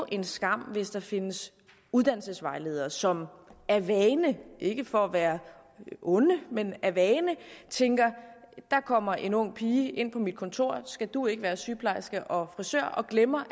en skam hvis der findes uddannelsesvejledere som af vane ikke for at være onde men af vane tænker der kommer en ung pige ind på mit kontor skal du ikke være sygeplejerske og så glemmer